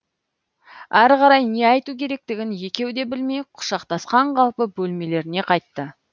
әрі қарай не айту керектігін екеуі де білмей құшақтасқан қалпы бөлмелеріне қайтты